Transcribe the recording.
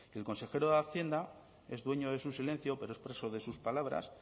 que el consejero de hacienda es dueño de su silencio pero es preso de sus palabras